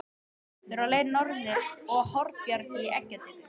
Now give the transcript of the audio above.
Þeir voru á leið norður á Hornbjarg í eggjatöku.